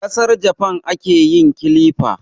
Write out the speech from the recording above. A Kasar Jafan ake yin kilifa